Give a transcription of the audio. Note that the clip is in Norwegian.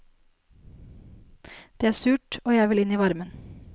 Det er surt, og jeg vil inn i varmen.